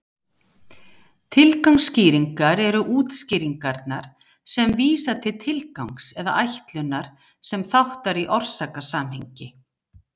Tilgangsskýringar eru útskýringarnar sem vísa til tilgangs eða ætlunar sem þáttar í orsakasamhengi.